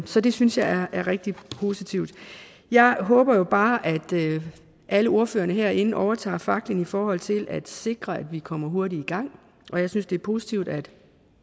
så det synes jeg er rigtig positivt jeg håber jo bare at alle ordførerne herinde overtager faklen i forhold til at sikre at vi kommer hurtigt i gang og jeg synes det er positivt at